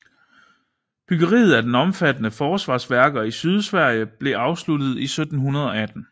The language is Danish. Byggeriet af de omfattende forsvarsværker i Sydsverige blev afsluttet i 1718